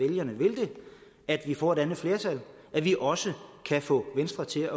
vælgerne vil at vi får et andet flertal at vi også kan få venstre til